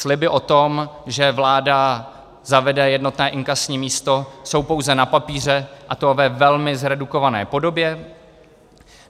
Sliby o tom, že vláda zavede jednotné inkasní místo, jsou pouze na papíře, a to ve velmi zredukované podobě.